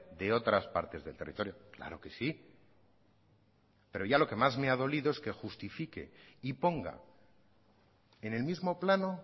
de otras partes del territorio claro que sí pero ya lo que más me ha dolido es que justifique y ponga en el mismo plano